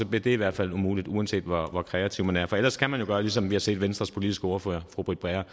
bliver det i hvert fald umuligt uanset hvor kreativ man er ellers kan man jo gøre som vi har set venstres politiske ordfører fru britt bager